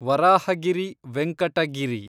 Varahagiri Venkata Giri